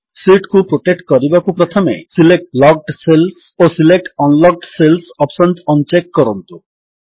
sheet କୁ protect କରିବାକୁ ପ୍ରଥମେ ସିଲେକ୍ଟ ଲକ୍ଡ ସେଲ୍ସ ଓ select unlocked cells options on check କରନ୍ତୁ